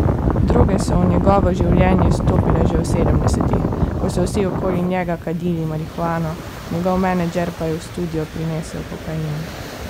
Droge so v njegovo življenje stopile že v sedemdesetih, ko so vsi okoli njega kadili marihuano, njegov menedžer pa je v studio prinesel kokain.